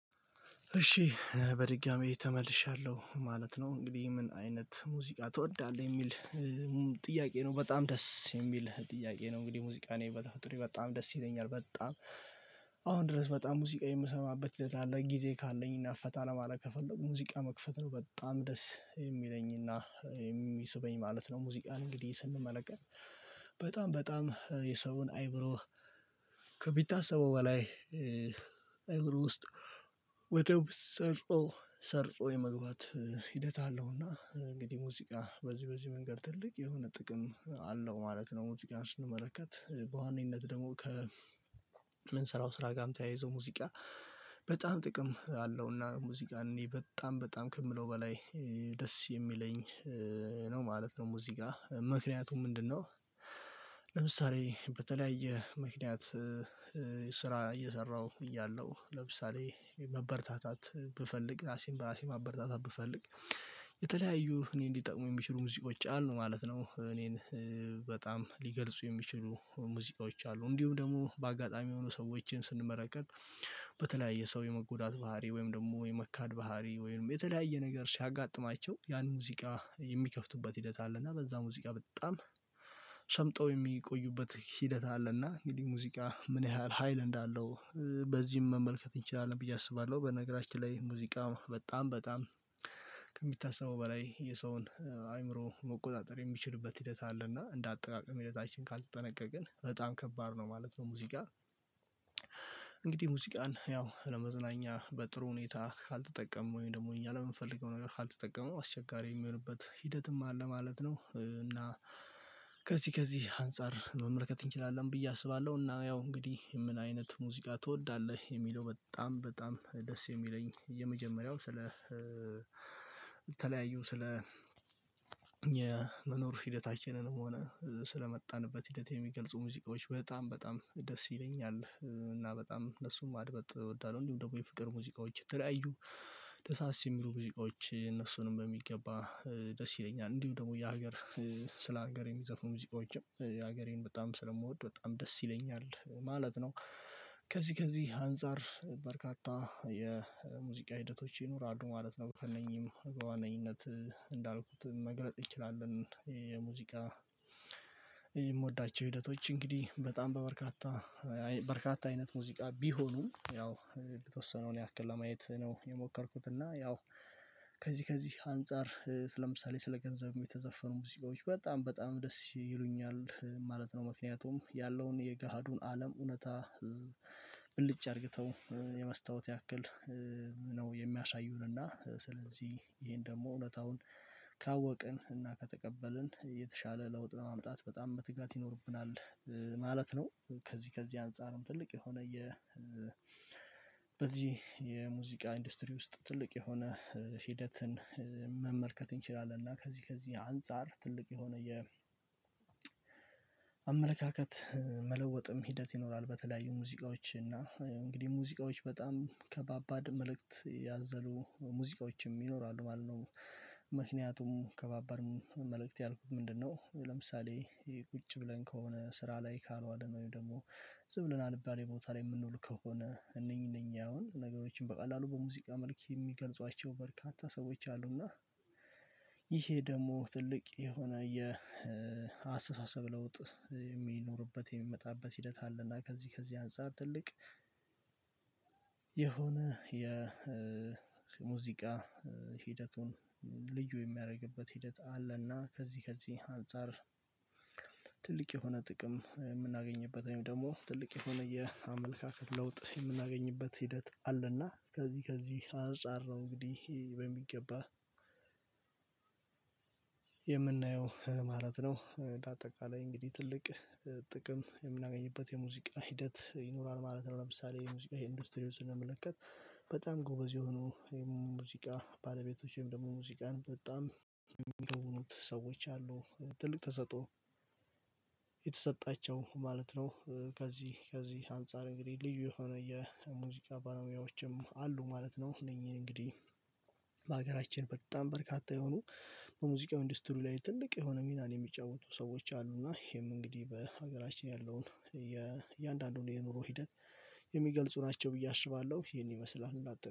እሺ በድጋሚ ተመልሻለሁ ማለት ነው እንግዲህ ምን አይነት ሙዚቃ ትወዳለህ የሚል ነው በጣም ደስ የሚል ጥያቄ ነው። እንግዲህ ሙዚቃን ይሄ በተፈጥሮዬ በጣም ደስ ይተኛል በጣም። አሁን ድረስ በጣም ሙዚቃ የምሰማበት ሂደት አለ ጊዜ ካለኝ እና ፈታ ለማለት ከፈለጉ ሙዚቃ መክፈት ነው በጣም ደስ የሚለኝና የሚስበኝ ማለት ነው። ሙዚቃን እንግዲህ ስንመለከት በጣም በጣም የሰውን አይምሮ ከሚታሰበው በላይ አይምሮ ውስጥ ወደ ውስጥ ሰርፆ ሰርፆ የመግባት ሂደት አለውና እንግዲህ ሙዚቃ በዚህ በዚህ መንገድ ትልቅ የሆነ ጥቅም አለው ማለት ነው። ሙዚቃን ስንመለከት በዋነኝነት ደግሞ ከ የምንሰራው ስራ ጋም ተያይዞ ሙዚቃ በጣም ጥቅም አለውና ሙዚቃን እኔ በጣም በጣም ከምለው በላይ ደስ የሚለኝ ነው ማለት ነው። ሙዚቃ ምክንያቱም ምንድነው? ለምሳሌ በተለያየ ምክንያት ስራ እየሰራሁ እያለሁ ለምሳሌ መበረታታት ብፈልግ ራሴን በራሴ ማበርታታት ብፈልግ የተለያዩ እኔን ሊጠቅሙ የሚችሉ ሙዚቃዎች አሉ ማለት ነው። እኔን በጣም ሊገልጹ የሚችሉ ሙዚቃዎች አሉ እንዲሁም ደግሞ በአጋጣሚ የሆኑ ሰዎችን ስንመለከት። በተለያየ ሰው የመጎዳት ባህሪ ወይም ደግሞ የመካድ ባህሪ ወይም የተለያየ ነገር ሲያጋጥማቸው ያን ሙዚቃ የሚከፍቱበት ሂደት አለ። እና በዛ ሙዚቃ በጣም ሰምጠው የሚቆዩበት ሂደት አለና እንግዲህ ሙዚቃ ምን ያህል ሀይል እንዳለው በዚህም መመልከት እንችላለን ብዬ አስባለሁ። በነገራችን ላይ ሙዚቃ በጣም በጣም ከሚታሰበው በላይ የሰውን አይምሮ መቆጣጠር የሚችልበት ሂደት አለ እና እንደ አጠቃቀም ሂደታችን ካልተጠነቀቅን በጣም ከባድ ነው ማለት ነው። ሙዚቃ እንግዲህ ሙዚቃን ያው ለመዝናኛ በጥሩ ሁኔታ ካልተጠቀሙ ወይም ደግሞ እኛ ለምንፈልገው ነገር ካልተጠቀመው አስቸጋሪ የሚሆንበት ሂደትም አለ ማለት ነው። እና ከዚህ ከዚህ አንፃር መመልከት እንችላለን ብዬ አስባለሁ እና ያው እንግዲህ ምን አይነት ሙዚቃ ትወዳለህ? የሚለው በጣም በጣም ደስ የሚለኝ የመጀመሪያው ስለ ተለያዩ ስለ የመኖር ሂደታችንንም ሆነ ስለመጣንበት ሂደት የሚገልጹ ሙዚቃዎች በጣም በጣም ደስ ይለኛል እና በጣም እነሱን ማድመጥ እወዳለሁ። እንዲሁም ደግሞ የፍቅር ሙዚቃዎች የተለያዩ ደሳስ የሚሉ ሙዚቃዎች እነሱንም በሚገባ ደስ ይለኛል እንዲሁ ደግሞ የሀገር ስለ ሀገር የሚዘፍኑ ሙዚቃችም የሀገሬን በጣም ስለምወድ በጣም ደስ ይለኛል ማለት ነው። ከዚህ ከዚህ አንፃር በርካታ የሙዚቃ ሂደቶች ይኖራሉ ማለት ነው። ከእነኚህም በዋነኝነት እንዳልኩት መግለጽ እንችላለን። የሙዚቃ የምወዳቸው ሂደቶች እንግዲህ በጣም በበርካታ በርካታ አይነት ሙዚቃ ቢሆኑም ያው የተወሰነውን ያክል ለማየት ነው የሞከርኩት እና ያው ከዚህ ከዚህ አንፃር ስለ ምሳሌ ስለ ገንዘብም የተዘፈኑ ሙዚቃዎች በጣም በጣም ደስ ይሉኛል ማለት ነው። ምክንያቱም ያለውን የገሃዱን አለም እውነታ ብልጭ አድርግተው የመስታወት ያክል ነው የሚያሳዩንና ስለዚህ ይሄን ደግሞ እውነታውን ካወቅን እና ከተቀበልን የተሻለ ለውጥ ለማምጣት በጣም መትጋት ይኖርብናል። ማለት ነው። ከዚህ ከዚህ አንፃርም ትልቅ የሆነ የ በዚህ የሙዚቃ ኢንዱስትሪ ውስጥ ትልቅ የሆነ ሂደትን መመልከት እንችላለን። እና ከዚህ ከዚህ አንፃር ትልቅ የሆነ የ አመለካከት መለወጥም ሂደት ይኖራል። በተለያዩ ሙዚቃዎች እና እንግዲህ ሙዚቃዎች በጣም ከባባድ መልእክት ያዘሉ ሙዚቃዎችም ይኖራሉ ማለት ነው። ምክንያቱም ከባባድም መልእክት ያልኩት ምንድነው? ለምሳሌ ይሄ ቁጭ ብለን ከሆነ ስራ ላይ ካልዋለን ወይም ደግሞ ዝም ብለን አልባሌ ቦታ ላይ የምንውል ከሆነ እነኚህ እነኚህ አሁን ነገሮችን በቀላሉ በሙዚቃ መልክ የሚገልጿቸው በርካታ ሰዎች አሉና። ይሄ ደግሞ ትልቅ የሆነ የአስተሳሰብ ለውጥ የሚኖርበት የሚመጣበት ሂደት አለና ከዚህ ከዚህ አንፃር ትልቅ የሆነ የሙዚቃ ሂደቱን ልዩ የሚያደርግበት ሂደት አለና። ከዚህ ከዚህ አንፃር ትልቅ የሆነ ጥቅም የምናገኝበት ወይም ደግሞ ትልቅ የሆነ የ አመለካከት ለውጥ የምናገኝበት ሂደት አለና። ከዚህ ከዚህ አንፃር ነው እንግዲህ በሚገባ የምናየው ማለት ነው። እንደ አጠቃላይ እንግዲህ ትልቅ ጥቅም የምናገኝበት የሙዚቃ ሂደት ይኖራል ማለት ነው። ለምሳሌ የሙዚቃ ኢንዱስትሪው ስንመለከት በጣም ጎበዝ የሆኑ የሙዚቃ ባለቤቶችም ደግሞ ሙዚቃን በጣም የሚተውኑት ሰዎች አሉ። ትልቅ ተሰጥኦ የተሰጣቸው ማለት ነው። ከዚህ ከዚህ አንፃር እንግዲህ ልዩ የሆነ የ ሙዚቃ ባለሙያዎችም አሉ ማለት ነው። እነኚህን እንግዲህ በሀገራችን በጣም በርካታ የሆኑ በሙዚቃው ኢንዱስትሪው ላይ ትልቅ የሆነ ሚናን የሚጫወቱ ሰዎች አሉ እና ይሄም እንግዲህ በሀገራችን ያለውን የእያንዳንዱን የኑሮ ሂደት የሚገልጹ ናቸው ብዬ አስባለሁ። ይሄን ይመስላል እንደኣጠ